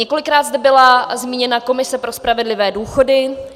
Několikrát zde byla zmíněna komise pro spravedlivé důchody.